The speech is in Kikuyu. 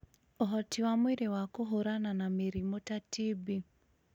ũhoti wa mwĩrĩ wa kũhũũrana na mĩrimũ ta TB.